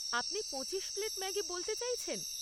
আপনি পঁচিশ plate Maggi বলতে চাইছেন?